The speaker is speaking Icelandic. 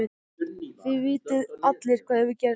Þið vitið allir hvað hefur gerst.